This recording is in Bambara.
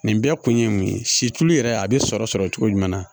Nin bɛɛ kun ye mun ye situlu yɛrɛ a bɛ sɔrɔ sɔrɔ cogo jumɛn na